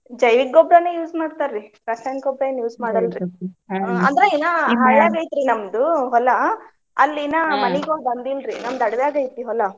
ಜೈವಿಕ್ ಗೊಬ್ರಾನ use ಮಾಡ್ತಾರಿ. ರಾಸಾಯನಿಕ ಗೊಬ್ರಾ ಏನ್ ಅಂದ್ರ ಐತ್ರಿ ನಮ್ದು ಹೊಲಾ ಅಲ್ಲಿ ಮನಿಗೊಳ್ ಬಂದಿಲ್ರಿ. ನಮ್ದ್ ಅಡಿವ್ಯಾಗ ಐತ್ರಿ ಹೊಲಾ.